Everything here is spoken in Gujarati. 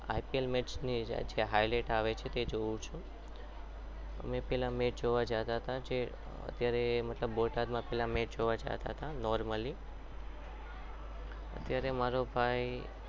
અત્યારે તો આઈપીએલની મેચની highlights આવે છે એ જોઉં છું અમે પહેલા match જોવા જતા હતા જે અત્યારે બોટાદમાં match જોવા જતા હતા normally અત્યારે મારો ભાઈ